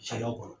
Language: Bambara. Sariya kɔnɔ